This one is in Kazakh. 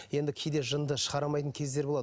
енді кейде жынды шығара алмайтын кездер болады